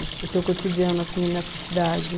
O teu cotidiano, assim, nessa cidade?